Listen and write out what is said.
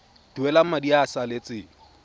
duela madi a a salatseng